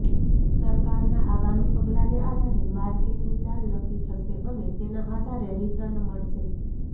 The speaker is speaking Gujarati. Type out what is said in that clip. સરકારના આગામી પગલાંને આધારે માર્કેટની ચાલ નક્કી થશે અને તેના આધારે રિટર્ન મળશે